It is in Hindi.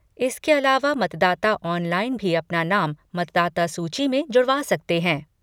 इसके अलावा मतदाता ऑनलाइन भी अपना नाम मतदाता सूची में जुड़वा सकते हैं।